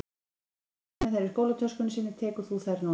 Ef hann geymir þær í skólatöskunni sinni tekur þú þær núna